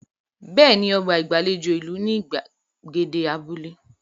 Bẹ́ẹ̀ ni, ọba gbàlejò ìlú ní ìgbàgede abúlé.